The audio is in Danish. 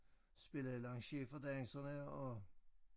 Spille lanciers for danserne og